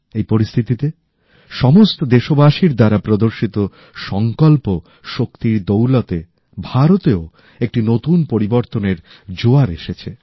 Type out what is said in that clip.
এই পরিস্থিতিতে সমস্ত দেশবাসীর মাধ্যমে প্রদর্শিত সংকল্প শক্তির দৌলতে ভারতেও একটি নতুন পরিবর্তনের জোয়ার এসেছে